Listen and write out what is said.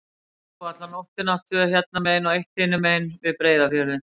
Þau grófu alla nóttina, tvö hérna megin og eitt hinum megin, við Breiðafjörðinn.